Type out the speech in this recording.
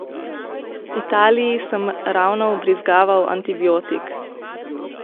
Italii sem ravno vbrizgaval antibiotik.